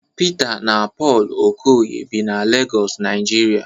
Pita na Pọlụ Okoye bi na Legọs Naijiria